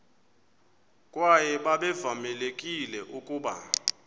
kwaye babevamelekile ukuba